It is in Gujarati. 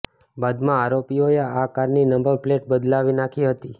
બાદમાં આરોપીઓએ આ કારની નંબર પ્લેટ બદલાવી નાખી હતી